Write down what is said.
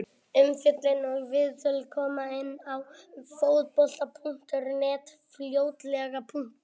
Umfjöllun og viðtöl koma inn á Fótbolti.net fljótlega.